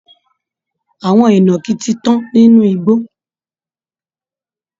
Àwọn ìnàkí ti tán nínú igbó